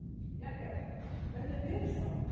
Jagger, hvernig er veðurspáin?